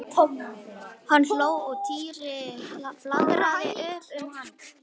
Hann hló og Týri flaðraði upp um hann.